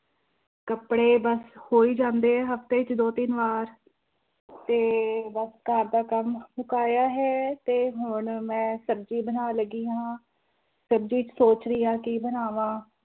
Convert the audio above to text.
ਕੱਪੜੇ ਬਸ ਹੋ ਹੀ ਜਾਂਦੇ ਆ ਹਫ਼ਤੇ 'ਚ ਦੋ ਤਿੰਨ ਵਾਰ ਤੇ ਬਸ ਘਰ ਦਾ ਕੰਮ ਮੁਕਾਇਆ ਹੈ ਤੇ ਹੁਣ ਮੈਂ ਸਬਜ਼ੀ ਬਣਾਉਣ ਲੱਗੀ ਹਾਂ, ਸਬਜ਼ੀ 'ਚ ਸੋਚ ਰਹੀ ਹਾਂ ਕੀ ਬਣਾਵਾਂ।